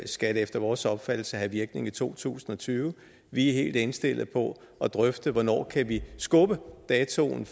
skal det efter vores opfattelse have virkning i to tusind og tyve vi er helt indstillet på at drøfte hvornår vi kan skubbe datoen